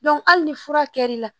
hali ni fura kɛr'i la